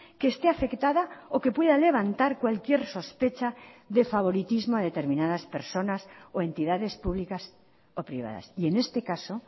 que esté afectada o que pueda levantar cualquier sospecha de favoritismo a determinadas personas o entidades públicas o privadas y en este caso